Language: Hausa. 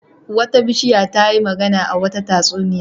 Wata bishiya ta yi magana a wata tatsuniya.